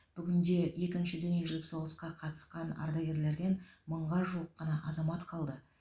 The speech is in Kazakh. бүгінде екінші дүниежүзілік соғысқа қатысқан ардагерлерден мыңға жуық қана азамат қалды